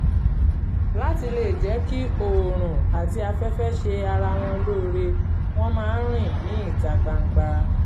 láti lè jẹ́ kí oòrùn àti afẹ́fẹ́ ṣe ara wọn lóore wọ́n máa ń rìn ní ìta gbangba